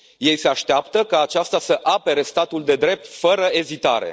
Ei se așteaptă ca aceasta să apere statul de drept fără ezitare.